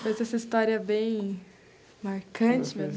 Foi essa história bem marcante, meu...